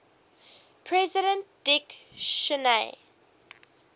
president dick cheney